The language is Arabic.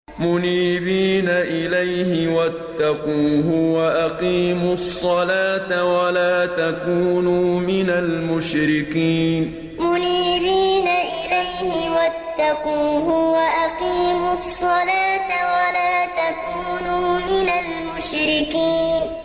۞ مُنِيبِينَ إِلَيْهِ وَاتَّقُوهُ وَأَقِيمُوا الصَّلَاةَ وَلَا تَكُونُوا مِنَ الْمُشْرِكِينَ ۞ مُنِيبِينَ إِلَيْهِ وَاتَّقُوهُ وَأَقِيمُوا الصَّلَاةَ وَلَا تَكُونُوا مِنَ الْمُشْرِكِينَ